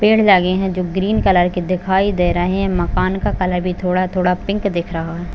पेड़ लगे है जो ग्रीन कलर के दिखाई दे रहे है मकान का कलर भी थोड़ा-थोड़ा पिंक दिख रहा है।